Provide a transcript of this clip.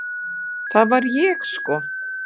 Það var ég sko!